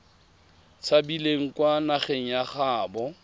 tshabileng kwa nageng ya gaabo